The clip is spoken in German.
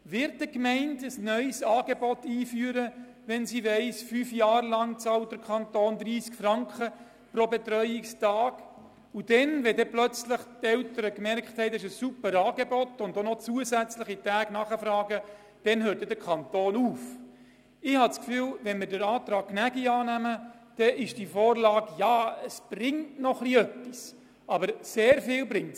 Wird eine Gemeinde ein neues Angebot einführen, im Wissen darum, dass der Kanton nur während einer befristeten Zeit von fünf Jahren 30 Franken pro Betreuungstag bezahlt?